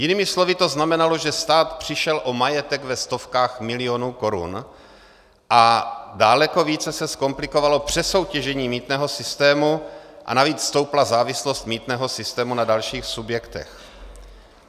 Jinými slovy to znamenalo, že stát přišel o majetek ve stovkách milionů korun a daleko více se zkomplikovalo přesoutěžení mýtného systému a navíc stoupla závislost mýtného sytému na dalších subjektech.